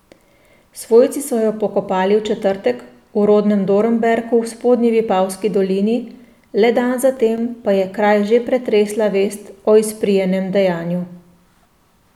Svojci so jo pokopali v četrtek v rodnem Dornberku v spodnji Vipavski dolini, le dan zatem pa je kraj že pretresla vest o izprijenem dejanju.